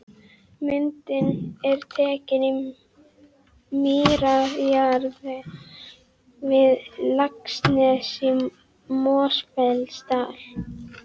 Myndin er tekin í mýrarjaðri við Laxnes í Mosfellsdal.